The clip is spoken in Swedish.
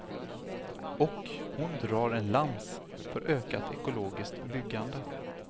Och hon drar en lans för ökat ekologiskt byggande.